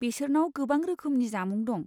बेसोरनाव गोबां रोखोमनि जामुं दं।